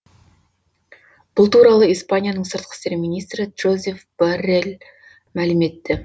бұл туралы испанияның сыртқы істер министрі джозеф боррел мәлім етті